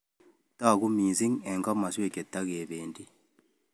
Toku missing eng komaswek chetakependi